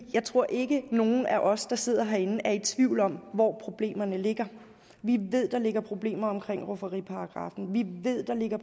jeg tror ikke at nogen af os der sidder herinde er i tvivl om hvor problemerne ligger vi ved der ligger problemer omkring rufferiparagraffen vi ved der ligger